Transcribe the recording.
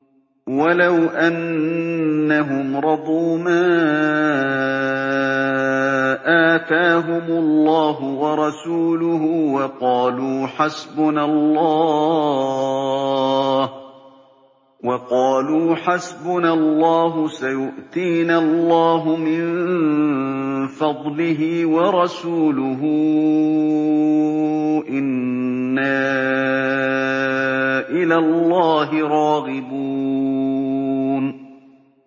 وَلَوْ أَنَّهُمْ رَضُوا مَا آتَاهُمُ اللَّهُ وَرَسُولُهُ وَقَالُوا حَسْبُنَا اللَّهُ سَيُؤْتِينَا اللَّهُ مِن فَضْلِهِ وَرَسُولُهُ إِنَّا إِلَى اللَّهِ رَاغِبُونَ